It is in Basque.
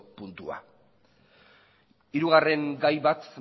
puntua hirugarren gai bat